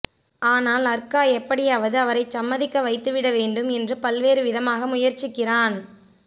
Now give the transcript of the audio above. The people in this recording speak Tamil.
ஆனால் அர்கா எப்படியாவது அவரைச் சம்மதிக்க வைத்துவிட வேண்டும் என்று பல்வேறு விதமாக முயற்சிக்கிறான்